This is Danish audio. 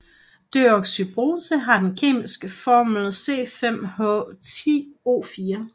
Deoxyribose har den kemiske formel C5H10O4